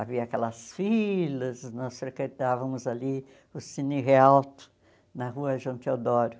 Havia aquelas filas, nós frequentávamos ali o Cine Realto, na Rua João Teodoro.